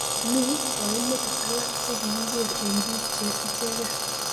Mi kaimutik alak che kikeker eng bik che ichegee.